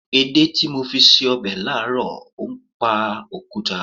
Èdè tí mo fi ṣe ọbẹ̀ láàárọ̀ ń pa òkúta.